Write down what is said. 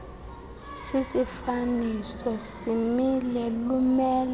sisifaniso simile lumelo